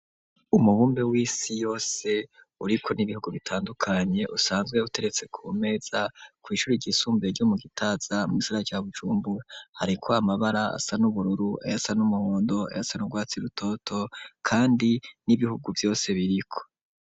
Umubumbe w'isi yose uriko n'ibihugu bitandukanye usanzwe utegetse ku meza kw'ishuri ry'isumbuye ryo mu Gitaza mu gisagara ca Bujumbura, hariko amabara asa n'ubururu ayasa n'umuhondo ayasa n'urwatsi rutoto kandi n'ibihugu vyose biriko.